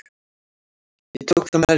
Ég tók það nærri mér.